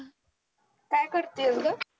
काय करतीयेस ग ?